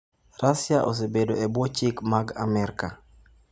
Russia osebedo e bwo chik mag Amerka.